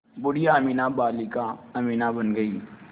बूढ़िया अमीना बालिका अमीना बन गईं